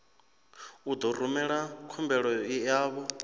u ḓo rumela khumbelo yavho